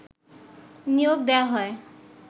নিয়োগ দেয়া হয়